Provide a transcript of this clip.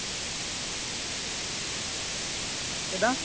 ਕਿੱਦਾਂ